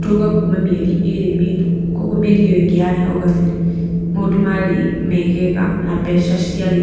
tũraũga mĩeri ĩrĩ mĩhĩtũku, koguo mĩeri ĩyo ingĩ mĩhĩtũku hau gabere, maũndũ marĩ megega na mbeca citiarĩ